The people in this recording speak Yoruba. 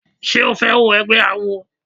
Ṣé o fẹ́ wọ egbẹ́ awo?